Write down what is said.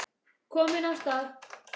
Kominn af stað.